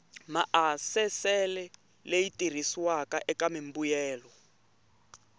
maasesele leyi tirhisiwaka eka mimbuyelo